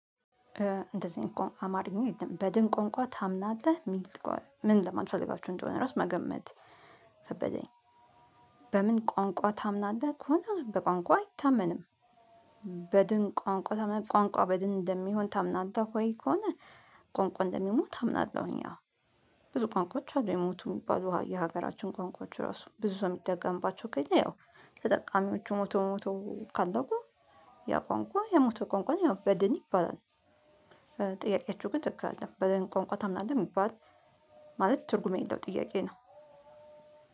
እንደዚህ እንኳን አማርኝ በድን ቋንቋ ታምናለህ ምን ለማንለት ፈልጋችሁ እንደሆነ ራሱ መገመት ከበደኝ። በምን ቋንቋ ታምናለህ ከሆነ በቋንቋ አይታመንም። በድን ቋንቋ ቋንቋ በድን እንደሚሆን ታምናለህ ወይ ከሆነ? ቋንቋ እንደሚሞት አምናለሁኝ። አዎ ብዙ ቋንቋዎች አሉ የሞቱ። የሀገራችን ቋንቋዎች ራሱ ብዙ ሰው የሚደጠቀምባቸው ከሌለ ያው ተጠቃሚዎቹ ሞቶ ሞቶ ካለቁ ያ ቋንቋ የሞተ ቋንቋ ያው በድን ይባላል። ግን ትክክል አይደለም በድን ቋንቋ ታምናለህ የሚባል። ማለት ትርጉም የሌለው ጥያቄ ነው።